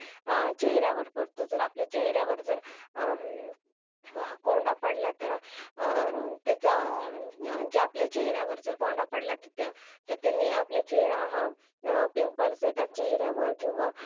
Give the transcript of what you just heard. समजा चेहऱ्यावर पडतो आणि आपल्या चेहऱ्यावर जर कोंडा पडला तर त्याने आपल्या चेहऱ्यावर pimples येतात किंवा